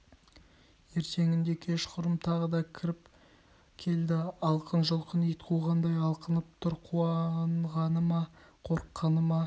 ертеңінде кешқұрым тағы да кіріп келді алқын-жұлқын ит қуғандай алқынып тұр қуанғаны ма қорыққаны ма